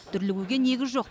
дүрлігуге негіз жоқ